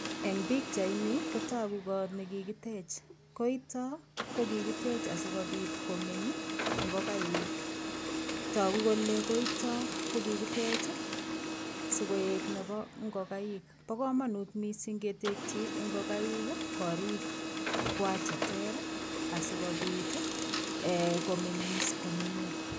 Eng pichaini kotoku koot nekikitech, koito ko kikitech asikobit komeny ing'okaik, tokuu kelee koito kokikitech sikoik nebo ing'okaik bokomonut mising ketekyi ing'okaik korikwa cheter asikobit eeh komeng'is komnye.